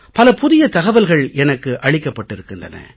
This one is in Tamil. பல புதிய தகவல்கள் எனக்கு அளிக்கப்பட்டிருக்கின்றன